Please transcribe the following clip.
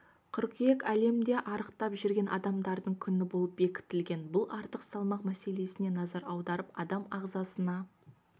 қыркүйек әлемде арықтап жүрген адамдардың күні болып бекітілген бұл артық салмақ мәселесіне назар аударып адам ағзасына